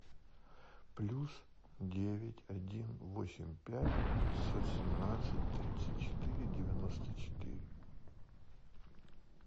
плюс девять один восемь пять пятьсот семнадцать тридцать четыре девяносто четыре